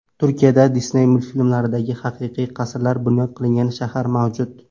Turkiyada Disney multfilmlaridagi haqiqiy qasrlar bunyod qilingan shahar mavjud.